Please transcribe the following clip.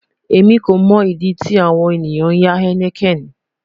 Emi ko mo idi ti awon eniyan ya heineken